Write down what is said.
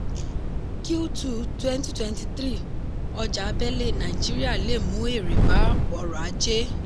q2 2023: ọjà abẹ̀lé nàìjíríà lè mu èrè bá ọrọ̀ ajé.